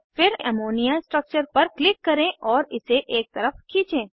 फिर ammonia structure पर click करें और इसे एक तरफ खींचें